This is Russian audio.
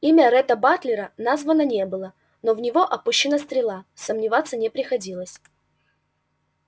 имя ретта батлера названо не было но в него опущена стрела сомневаться не приходилось